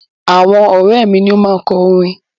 Àwọn ọ̀rẹ́ mi ni ó máa kọ orin.